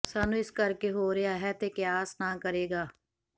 ਸਾਨੂੰ ਇਸ ਕਰਕੇ ਹੋ ਰਿਹਾ ਹੈ ਤੇ ਕਿਆਸ ਨਾ ਕਰੇਗਾ